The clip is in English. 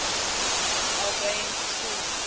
albans school